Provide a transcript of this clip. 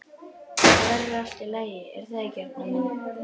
Þetta verður allt í lagi, er það ekki, Arnar minn?